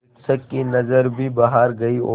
शिक्षक की नज़र भी बाहर गई और